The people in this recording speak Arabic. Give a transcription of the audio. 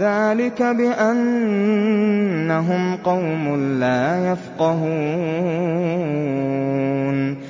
ذَٰلِكَ بِأَنَّهُمْ قَوْمٌ لَّا يَفْقَهُونَ